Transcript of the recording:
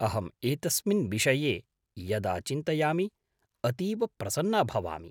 अहम् एतस्मिन् विषये यदा चिन्तयामि अतीव प्रसन्ना भवामि।